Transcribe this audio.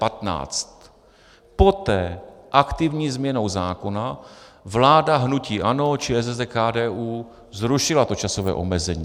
Poté aktivní změnou zákona vláda hnutí ANO, ČSSD, KDU zrušila to časové omezení.